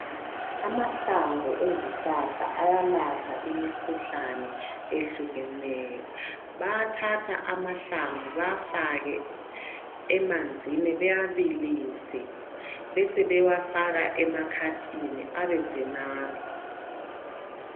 Amahlamvu ezihlahla ayalapha imikhuhlane etshiyeneyo bayathatha amahlamvu bewafake emanzini bewabilise besebe wafaka emankomitshini ebese anathwa.